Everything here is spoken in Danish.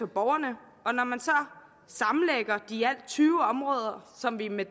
borgerne og når man så sammenlægger de i alt tyve områder som vi med